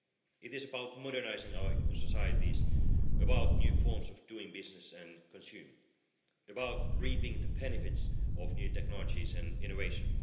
It is about modernising our societies, about new forms of doing business and consuming, about reaping the benefits of new technologies and innovation.